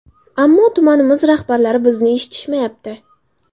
Ammo tumanimiz rahbarlari bizni eshitmayapti.